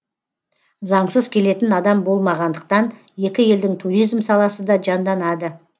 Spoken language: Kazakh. заңсыз келетін адам болмағандықтан екі елдің туризм саласы да жанданады